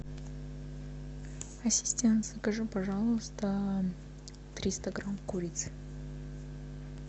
ассистент закажи пожалуйста триста грамм курицы